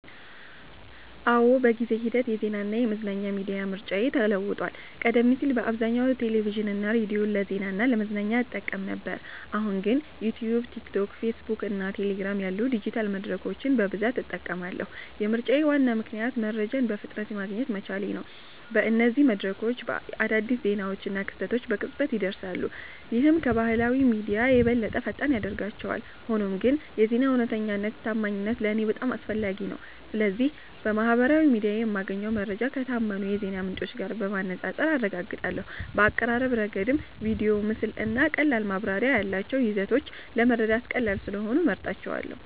አዎ፣ በጊዜ ሂደት የዜናና የመዝናኛ ሚዲያ ምርጫዬ ተለውጧል። ቀደም ሲል በአብዛኛው ቴሌቪዥንና ሬዲዮን ለዜና እና ለመዝናኛ እጠቀም ነበር፣ አሁን ግን ዩትዩብ፣ ቲክቶክ፣ ፌስቡክ እና ቴሌግራም ያሉ ዲጂታል መድረኮችን በብዛት እጠቀማለሁ። የምርጫዬ ዋና ምክንያት መረጃን በፍጥነት ማግኘት መቻሌ ነው። በእነዚህ መድረኮች አዳዲስ ዜናዎችና ክስተቶች በቅጽበት ይደርሳሉ፣ ይህም ከባህላዊ ሚዲያዎች የበለጠ ፈጣን ያደርጋቸዋል። ሆኖም ግን የዜና እውነተኛነትና ታማኝነት ለእኔ በጣም አስፈላጊ ነው። ስለዚህ በማህበራዊ ሚዲያ የማገኘውን መረጃ ከታመኑ የዜና ምንጮች ጋር በማነጻጸር አረጋግጣለሁ። በአቀራረብ ረገድም ቪዲዮ፣ ምስል እና ቀላል ማብራሪያ ያላቸው ይዘቶች ለመረዳት ቀላል ስለሆኑ እመርጣቸዋለ